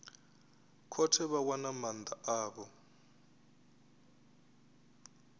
khothe vha wana maanda avho